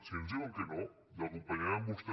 si ens diuen que no l’acompanyarem a vostè